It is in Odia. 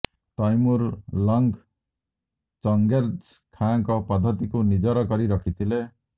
ତୈମୁର ଲଂଗ ଚଂଗେଜ ଖାଁଙ୍କ ପଦ୍ଧତିକୁ ନିଜର କରି ରଖିଥିଲେ